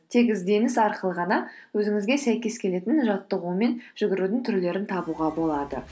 тек ізденіс арқылы ғана өзіңізге сәйкес келетін жаттығу мен жүгірудің түрлерін табуға болады